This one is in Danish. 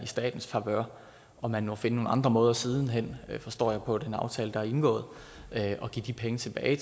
statens favør og man må finde nogle andre måder siden hen forstår jeg på den aftale der er indgået at give de penge tilbage